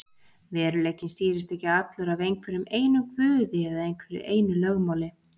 Veruleikinn stýrist ekki allur af einhverjum einum guði eða einhverju einu lögmáli.